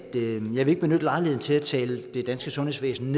ikke vil benytte lejligheden til at tale det danske sundhedsvæsen